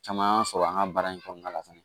Caman y'an sɔrɔ an ka baara in kɔnɔna la fɛnɛ